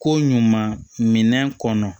Ko ɲuman minɛn kɔnɔ